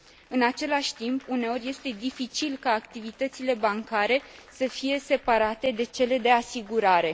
În același timp, uneori, este dificil ca activitățile bancare să fie separate de cele de asigurare.